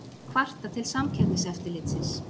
Kvarta til Samkeppniseftirlitsins